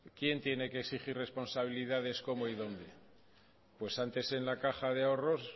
quien tiene que exigir responsabilidades cómo y dónde pues antes en la caja de ahorros